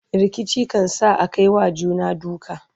rikici kan sa Akai wa juna duka